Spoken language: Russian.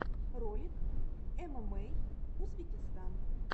ролик эмэмэй узбекистан